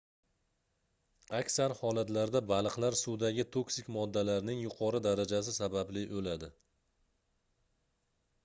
aksar holatlarda baliqlar suvdagi toksik moddalarning yuqori darajasi sababli oʻladi